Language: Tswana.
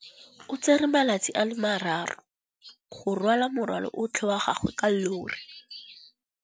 O tsere malatsi a le marraro go rwala morwalo otlhe wa gagwe ka llori.